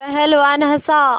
पहलवान हँसा